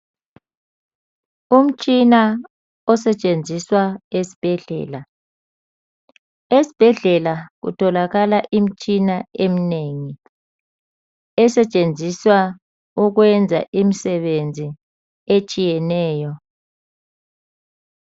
Umtshina osetshenziswa esibhedlela. Esibhedlela kutholakala imitshina eminengi esetshenziswa ukwenza imisebenzi etshiyeneyo.